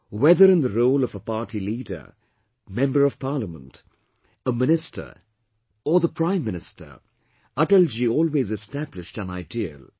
Whether in the role of a party leader, Member of Parliament, a minister or the Prime Minister, Atalji always established an ideal